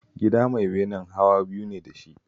The storey house has two floors